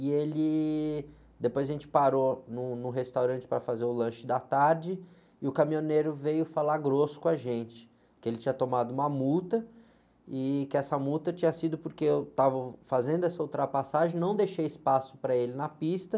E ele, depois a gente parou num, no restaurante para fazer o lanche da tarde e o caminhoneiro veio falar grosso com a gente que ele tinha tomado uma multa e que essa multa tinha sido porque eu estava fazendo essa ultrapassagem, não deixei espaço para ele na pista.